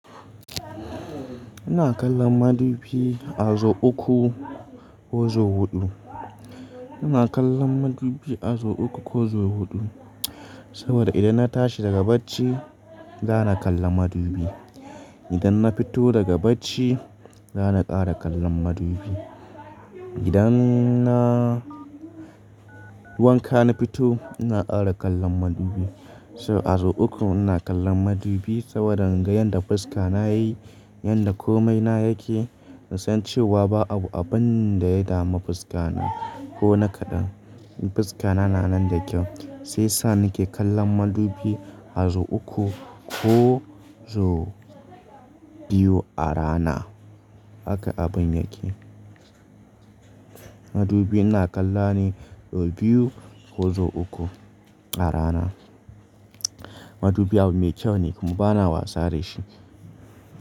Ina kallon madubi a zo uku ko zo huɗu. Ina kallon madubi a zo uku ko zo huɗu saboda idan na tashi daga bacci, za na kalla madubi. Idan na fito daga bacci, za na ƙara kallon madubi. Idan na wanka na fito, ina ƙara kallon madubi. So a zo uku ina kallon madubi saboda in ga yadda fuska na yayi, yadda komai na yake, in san cewa ba abu abun da ya dama fuska na ko na kaɗan. Fuska na, na nan da kyau. Sai sa ni ke kallon madubi a zo uku ko zo biyu a rana. Haka abun yake. Madubi ina kallona ne zo biyu ko zo uku a rana. Madubi abu mai kyau ne, kuma bana watsa rashi.